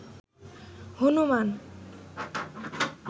Hanuman